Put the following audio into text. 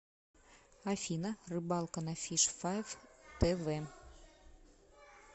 афина рыбалка на фиш файв тэ вэ